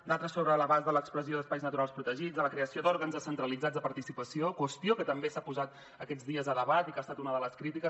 d’altres sobre l’abast de l’expressió d’espais naturals protegits de la creació d’òrgans descentralitzats de participació qüestió que també s’ha posat aquests dies a debat i que ha estat una de les crítiques